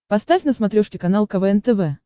поставь на смотрешке канал квн тв